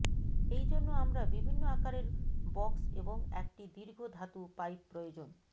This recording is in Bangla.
এই জন্য আমরা বিভিন্ন আকারের বক্স এবং একটি দীর্ঘ ধাতু পাইপ প্রয়োজন